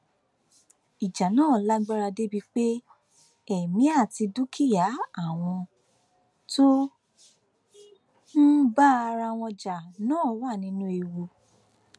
ìjà náà lágbára débii pé èmi àti dúkìá àwọn tó ń bá ara wọn jà náà wà nínú ewu